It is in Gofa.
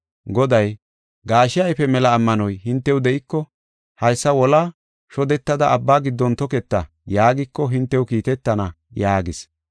Goday, “Gaashe ayfe mela ammanoy hintew de7iko ‘Haysa wolaa shodetada abba giddon toketa’ yaagiko hintew kiitetana” yaagis.